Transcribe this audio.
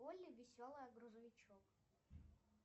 олли веселая грузовичок